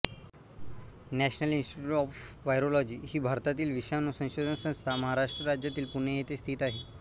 national institute of virology ही भारतीय विषाणू संशोधन संस्था महाराष्ट्र राज्यातील पुणे येथे स्थित आहे